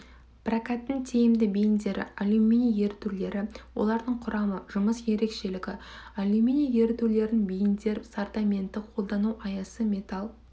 прокаттың тиімді бейіндері алюминий ерітулері олардың құрамы жұмыс ерекшелігі алюминий ерітулерінен бейіндер сортаменті қолдану аясы металл